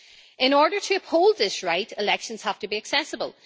In order to uphold this right, elections have to be accessible.